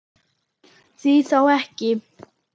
Því þá ekki?